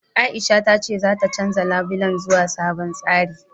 Aisha ta ce zata canja labulen zuwa sabon tsari.